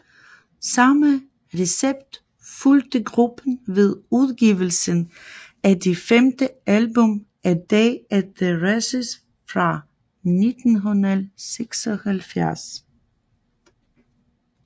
Samme recept fulgte gruppen ved udgivelsen af det femte album A Day at the Races fra 1976